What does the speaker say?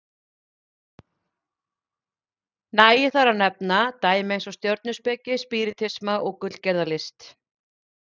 Nægir þar að nefna dæmi eins og stjörnuspeki, spíritisma og gullgerðarlist.